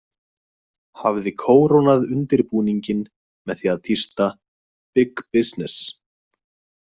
Hafði kórónað undirbúninginn með því að tísta: BIG BUSINESS.